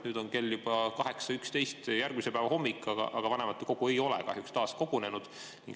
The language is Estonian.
Nüüd on kell juba 8.11, on järgmise päeva hommik, aga vanematekogu ei ole kahjuks taas kogunenud.